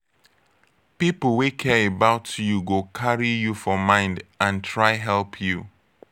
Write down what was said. pipo wey care about you go carry you for mind and try help you